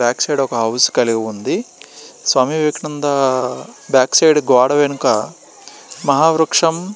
ఇక్కడ ఒక హౌస్ కాళీ ఉంది. స్వామి వివేకన్నదా బ్యాక్ సైడ్ మహా వృక్షం --